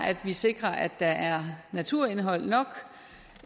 at vi sikrer at der er naturindhold nok